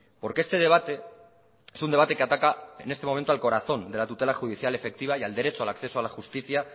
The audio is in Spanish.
porque este debate es un debate que ataca en este momento al corazón de la tutela judicial efectiva y al derecho al acceso a la justicia